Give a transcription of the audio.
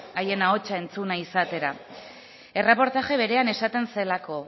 haien ahotsa entzuna izatera erreportaje berean esaten zelako